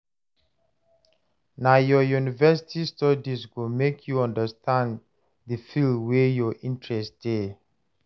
Na your university studies go make you understand the field wey your interest dey.